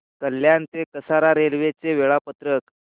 कल्याण ते कसारा रेल्वे चे वेळापत्रक